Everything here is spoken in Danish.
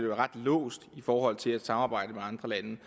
være ret låst i forhold til at samarbejde med andre lande